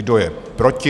Kdo je proti?